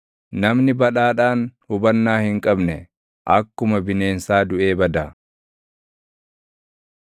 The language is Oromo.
Namni badhaadhaan hubannaa hin qabne, akkuma bineensaa duʼee bada.